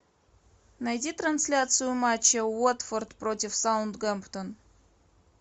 найди трансляцию матча уотфорд против саутгемптон